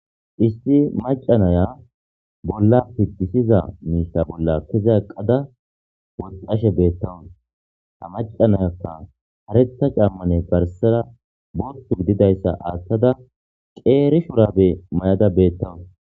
Isti macanaya bolla pitisiza miita bolla kiza aqqada woxashe beettawun ha macanayakka haretta cammane farsera botu gididayssa aattada qeeri shurabe may'ada beettawun